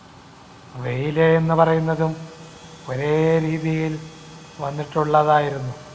വെയില് എന്ന് പറയുന്നതും ഒരേ രീതിയിൽ വന്നിട്ടുള്ളതായിരുന്നു.